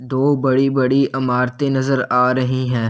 दो बड़ी बड़ी अमारते नजर आ रही हैं।